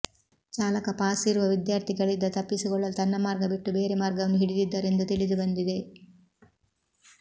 ಚಾಲಕ ಪಾಸ್ ಇರುವ ವಿದ್ಯಾರ್ಥಿಗಳಿದ ತಪ್ಪಿಸಿಕೊಳ್ಳಲು ತನ್ನ ಮಾರ್ಗ ಬಿಟ್ಟು ಬೇರೆ ಮಾರ್ಗವನ್ನು ಹಿಡಿದಿದ್ದರು ಎಂದು ತಿಳಿದುಬಂದಿದೆ